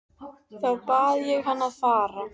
Þá bað ég hann að fara.